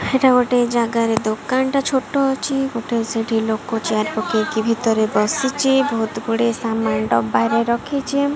ସେଟା ଗୋଟେ ଜାଗାରେ ଦୋକାନଟା ଛୋଟ ଅଛି ଗୋଟେ ସେଠି ଲୋକ ଚେୟାର ପକେଇକି ଭିତରେ ବସିଚି ଭଉତୁ ଗୁଡିଏ ସାମାନ ଡବାରେ ରଖିଚି।